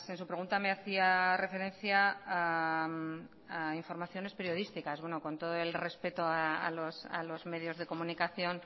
su pregunta me hacía referencia a informaciones periodísticas bueno con todo el respeto a los medios de comunicación